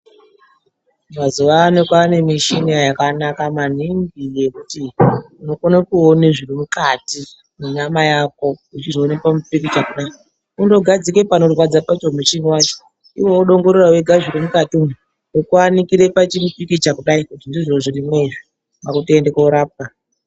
Mazuwa ano kwaane mushina yakanaka maningi yekuti unokone kuone zviri mukati mwenyama yako uchizvione pamupikicha kudai kundogadzike panorama pacho muchini wacho iwo wodongorera wenga zviri mukati umu wokuanikire pamupikicha kudai kuti ndizvo zvirimwo izvi kwaakutoende koorapwa.